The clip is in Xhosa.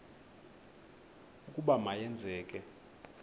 ukuba ma yenzeke